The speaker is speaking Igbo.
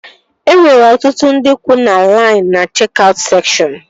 E nwere ọtụtụ ndị kwuu na lain na chek-aut sekshọn